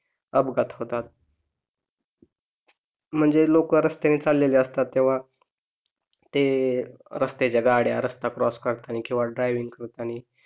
अपघात होतात म्हणजे लोक रस्त्यानी चाललेले असतात तेव्हा ते रस्त्याच्या गाड्या रस्ता क्रॉस करतानी किंवा ड्रायविंग करतानी